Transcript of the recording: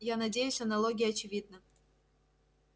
я надеюсь аналогия очевидна